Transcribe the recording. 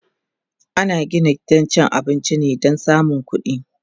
ana Gina gidan cin abinci ne Dan samun ƙuɗi